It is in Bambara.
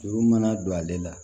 Juru mana don ale la